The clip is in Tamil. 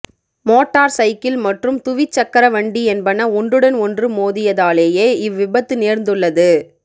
மோட்டார் சைக்கிள் மற்றும் துவிச்சக்கர வண்டி என்பன ஒன்றுடன் ஒன்று மோதி யதாலேயே இவ் விபத்து நேர்ந்துள்ளது